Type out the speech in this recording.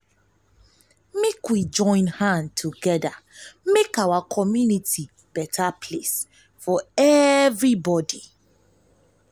make we we join hand make our community beta place for everybodi.